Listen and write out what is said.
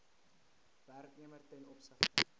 werknemer ten opsigte